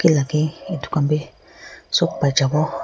laga etu khan bhi sob pai jabo.